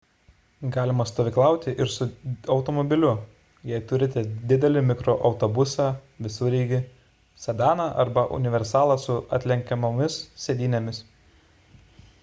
galima stovyklauti ir su automobiliu jei turite didelį mikroautobusą visureigį sedaną arba universalą su atlenkiamomis sėdynėmis